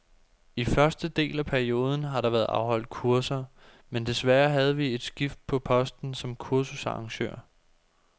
I første del af perioden har der været afholdt kurser, men desværre havde vi et skift på posten som kursusarrangør.